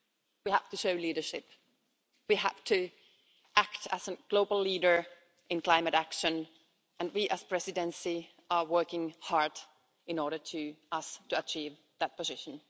We have to show leadership, we have to act as a global leader in climate action, and we as Presidency are working hard so that we can achieve that position.